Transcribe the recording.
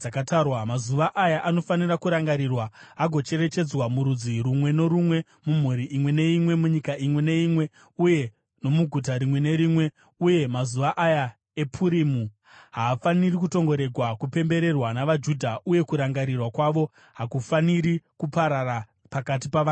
Mazuva aya anofanira kurangarirwa agocherechedzwa, murudzi rumwe norumwe, mumhuri imwe neimwe, munyika imwe neimwe uye nomuguta rimwe nerimwe. Uye mazuva aya ePurimu haafaniri kutongoregwa kupembererwa navaJudha, uye kurangarirwa kwawo hakufaniri kuparara pakati pavana vavo.